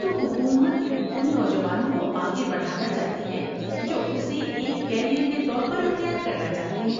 تو حکومت ان نوجوانوں کو آگے بڑھانا چاہتی ہے جو اسے ایک کیریئر کے طور پر اختیار کرنا چاہتے ہیں۔